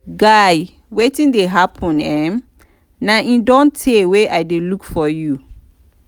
guy wetin dey happen um na e don tey wey i dey look for you